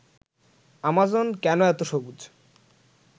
Amazon কেনো এতো সবুজ